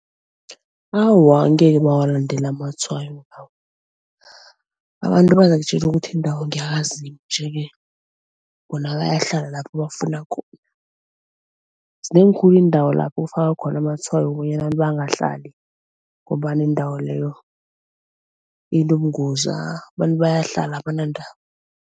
Awa ngeke bawalandela amatshwayo lawo. Abantu bazakutjele ukuthi iindawo ngeyakaZimu nje-ke bona bayahlala lapho bafuna zinengi khulu iindawo lapho ufaka khona amatshwayo bonyana abantu bangahlali ngombana indawo leyo inobungazi abantu bayahlala, abanandaba.